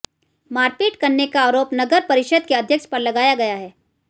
मारपीट करने का आरोप नगर परिषद के अध्यक्ष पर लगाया गया है